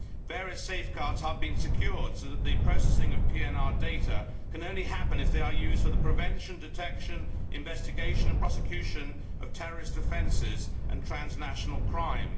Various safeguards have been secured so that the processing of PNR data can only happen if they are used for the prevention, detection, investigation and prosecution of terrorist offences and transnational crime.